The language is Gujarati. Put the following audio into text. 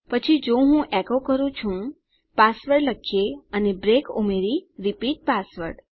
પછી જો હું એકો કરું છું પાસવર્ડ લખીએ અને બ્રેક ઉમેરી રિપીટ પાસવર્ડ